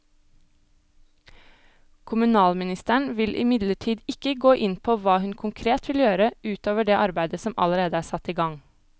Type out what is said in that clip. Kommunalministeren vil imidlertid ikke gå inn på hva hun konkret vil gjøre ut over det arbeidet som allerede er satt i gang.